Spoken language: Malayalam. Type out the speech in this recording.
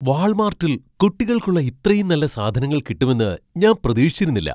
വാൾമാർട്ടിൽ കുട്ടികൾക്കുള്ള ഇത്രയും നല്ല സാധനങ്ങൾ കിട്ടുമെന്ന് ഞാൻ പ്രതീക്ഷിച്ചിരുന്നില്ല.